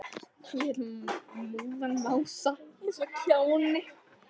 Hann lét móðan mása eins og kjáni.